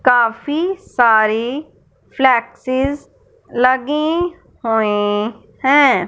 काफी सारी फ्लेक्स लगी हुई है।